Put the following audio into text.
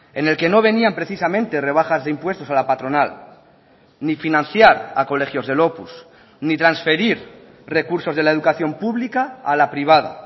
en el que no venían precisamente rebajas de impuestos a la patronal ni financiar a colegios del opus ni transferir recursos de la educación pública a la privada